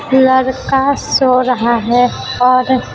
लड़का सो रहा है और --